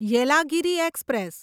Yelagiri express